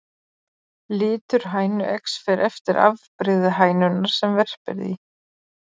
Litur hænueggs fer eftir afbrigði hænunnar sem verpir því.